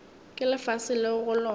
ke lefase leo go lona